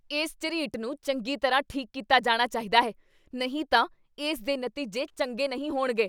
ਇਸ ਝਰੀਟ ਨੂੰ ਚੰਗੀ ਤਰ੍ਹਾਂ ਠੀਕ ਕੀਤਾ ਜਾਣਾ ਚਾਹੀਦਾ ਹੈ, ਨਹੀਂ ਤਾਂ ਇਸ ਦੇ ਨਤੀਜੇ ਚੰਗੇ ਨਹੀਂ ਹੋਣਗੇ!